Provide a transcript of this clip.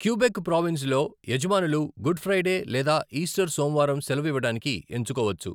Quebec ప్రోవిన్సులో, 'యజమానులు Good Friday లేదా ఈస్టర్ సోమవారం సెలవు ఇవ్వడానికి ఎంచుకోవచ్చు.